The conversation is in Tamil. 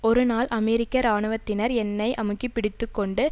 ஒரு நாள் அமெரிக்க இராணுவத்தினர் என்னை அமுக்கிப் பிடித்து கொண்டு